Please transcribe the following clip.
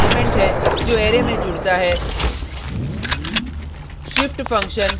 दूसरा argument element है जो अरै में जुड़ता है